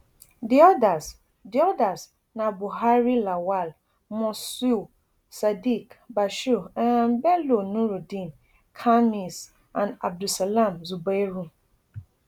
di odas di odas na buhari lawal mosiu sadiq bashir um bello nurudeen khamis and abdulsalam zubairu